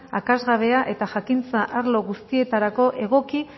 akats gabea eta jakintza arlo guztietarako egoki